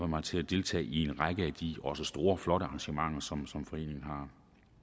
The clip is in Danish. mig til at deltage i en række af de også store og flotte arrangementer som som foreningen har